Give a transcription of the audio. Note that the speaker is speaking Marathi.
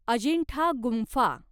अजिंठा गुंफा